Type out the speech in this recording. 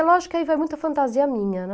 É lógico que aí vai muita fantasia minha, né?